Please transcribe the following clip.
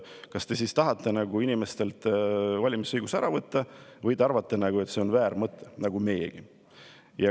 Kas te siis tahate inimestelt valimisõiguse ära võtta või te arvate nagu meiegi, et see on väär mõte?